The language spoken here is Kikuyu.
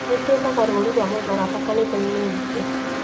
Nĩtwĩkaga rũri rwa mũtharaba kanithainĩ itũ